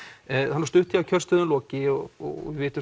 er stutt í að kjörstöðum loki og við vitum